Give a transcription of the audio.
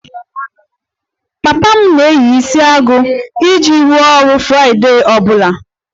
Papa m na-eyi isiagu iji rụọ ọrụ friday ọ bụla